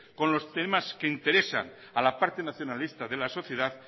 con los temas que interesan a la parte nacionalista de la sociedad